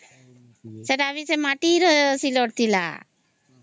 ହଁ ସେଟା ଅଭି ମାଟି ର ସିଲଟ ଥିଲା